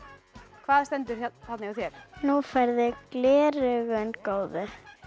hvað stendur þarna hjá þér nú færðu gleraugun góðu